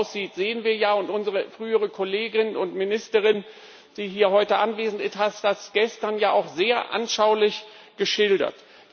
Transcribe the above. Wie das aussieht, sehen wir ja, und unsere frühere Kollegin und Ministerin, die hier heute anwesend ist, hat das gestern ja auch sehr anschaulich geschildert.